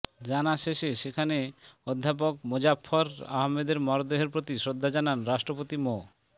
জানা শেষে সেখানে অধ্যাপক মোজাফফর আহমদের মরদেহের প্রতি শ্রদ্ধা জানান রাষ্ট্রপতি মো